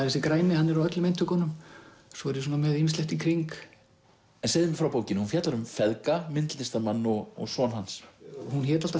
þessi græni hann er á öllum eintökunum svo er ég með ýmislegt í kring segðu mér frá bókinni hún fjallar um feðga myndlistarmann og son hans hún hét alltaf